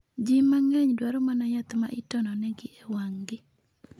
Ji mang'eny dwaro mana yath ma itono negi e wang'gi.